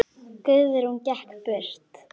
Guðrún gekk burt.